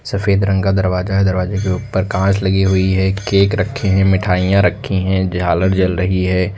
सफेद रंग का दरवाजा है दरवाजे के ऊपर कांच लगी हुई है केक रखे हैं मिठाइयां रखी हैं झालर जल रही है।